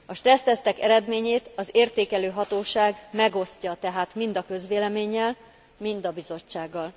A stressztesztek eredményét az értékelő hatóság megosztja tehát mind a közvéleménnyel, mind a Bizottsággal.